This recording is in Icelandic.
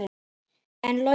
En Logi?